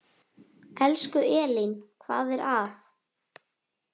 Elsku Elín, hvað er að?